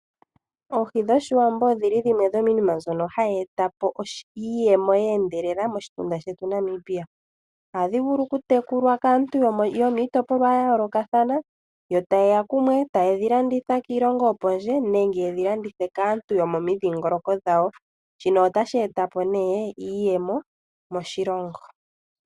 Oohi dhOshiwambo odhili dhimwe dhomiinima mbyono hayi etapo iiyemo yeendelela moshitunda shetu Namibia. Ohadhi vulu okutekulwa kaantu yomiitopolwa yayoolokathana , yotayeya kumwe etaye dhi landitha kiilongo yopondje nenge yedhi kandithe kaantu yomomidhingoloko dhawo. Shino otashi etapo iiyemo moshilongo.